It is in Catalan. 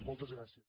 moltes gràcies